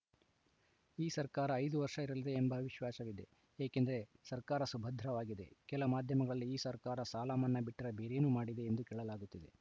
ಈ ಸರ್ಕಾರ ಐದು ವರ್ಷ ಇರಲಿದೆ ಎಂಬ ವಿಶ್ವಾಸವಿದೆ ಏಕೆಂದರೆ ಸರ್ಕಾರ ಸುಭದ್ರವಾಗಿದೆ ಕೆಲ ಮಾಧ್ಯಮಗಳಲ್ಲಿ ಈ ಸರ್ಕಾರ ಸಾಲ ಮನ್ನಾ ಬಿಟ್ಟರೆ ಬೇರೇನು ಮಾಡಿದೆ ಎಂದು ಕೇಳಲಾಗುತ್ತಿದೆ